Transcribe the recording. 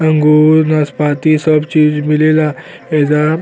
अंगूर नासपाती सब चीज मिलेला एहिजा --